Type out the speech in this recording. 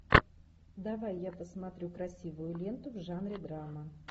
давай я посмотрю красивую ленту в жанре драма